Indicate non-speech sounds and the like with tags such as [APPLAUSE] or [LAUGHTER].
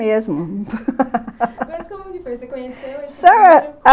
[LAUGHS] mas como é que foi? você conheceu [UNINTELLIGIBLE]